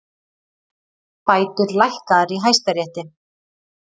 Bætur lækkaðar í Hæstarétti